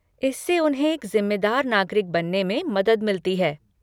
इससे उन्हें एक ज़िम्मेदार नागरिक बनने में मदद मिलती है।